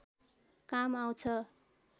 काम आउँछ